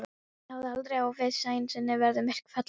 Hann hafði aldrei á ævi sinni verið myrkfælinn fyrr.